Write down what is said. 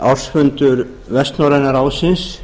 ársfundur vestnorræna ráðsins